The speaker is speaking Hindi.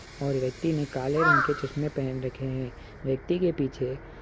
और व्यक्ति ने काले रंग के चश्मे पहन रखे हैं व्यक्ति के पीछे एक --